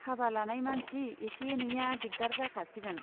हाबा लानाय मानसि एसे एनैया दिगदार जाखासिगोन।